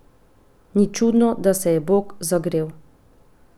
Ni čudno, da se je Bog zagrel.